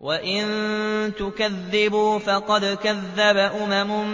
وَإِن تُكَذِّبُوا فَقَدْ كَذَّبَ أُمَمٌ